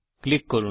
টিপুন